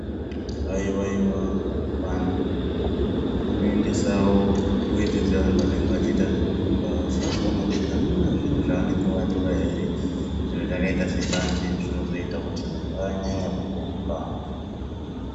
Haiwaiwa vantu vanoendesawo weti dzevantu vanenge vachiita zvekurumba vachida kuona kuti akuna zvavanenge vatora here zvinhu zvakaita sembanje zvinozoita vanyanye kurumba.